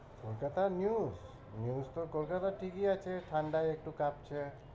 কলকাতার news, news তো কলকাতার TV আছে, ঠান্ডায় একটু কাঁপছে।